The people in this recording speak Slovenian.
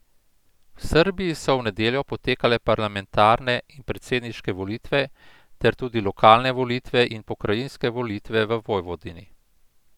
V Srbiji so v nedeljo potekale parlamentarne in predsedniške volitve ter tudi lokalne volitve in pokrajinske volitve v Vojvodini.